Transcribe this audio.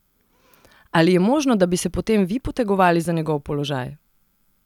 Ali je možno, da bi se potem vi potegovali za njegov položaj?